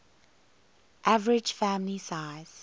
average family size